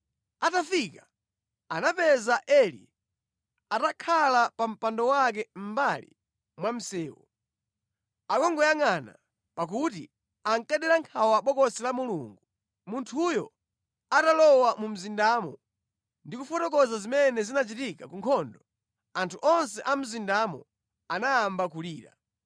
Atafika, anapeza Eli atakhala pa mpando wake mʼmbali mwa msewu, akungoyangʼana, pakuti ankadera nkhawa Bokosi la Mulungu. Munthuyo atalowa mu mzindamo ndi kufotokoza zimene zinachitika ku nkhondo, anthu onse a mu mzindamo anayamba kulira.